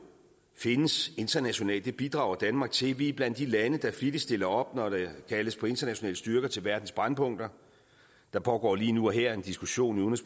findes internationalt det bidrager danmark til vi er blandt de lande der flittigst stiller op når der kaldes på internationale styrker til verdens brændpunkter der pågår lige nu og her en diskussion i